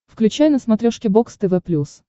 включай на смотрешке бокс тв плюс